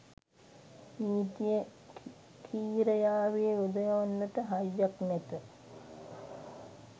නීතිය කි්‍රයාවේ යොදවන්නට හයියක් නැත